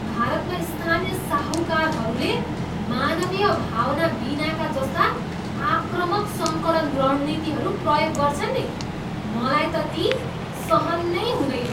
भारतमा स्थानीय साहूकारहरूले मानवीय भावना बिनाका जस्ता आक्रामक सङ्कलन रणनीतिहरू प्रयोग गर्छन् नि मलाई त ती सहन नै हुँदैन।